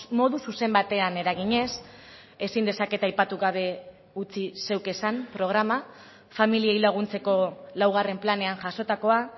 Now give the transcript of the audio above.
modu zuzen batean eraginez ezin dezaket aipatu gabe utzi zeuk esan programa familiei laguntzeko laugarren planean jasotakoa